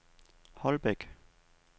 Holbæk